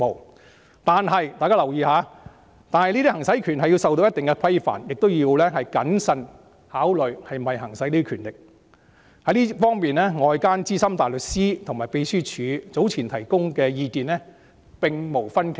然而，大家要留意，"行使這些權力是受到一定的規範，亦要謹慎考慮是否行使這些權力......在這方面，外間資深大律師與秘書處早前提供的意見並無分歧"。